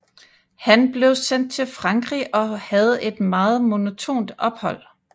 Han blev sendt til Frankrig og havde et meget monotont ophold